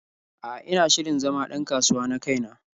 A'a, ina shirin zama ɗ an kasuwa na kai na.